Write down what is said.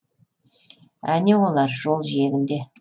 әне олар жол жиегінде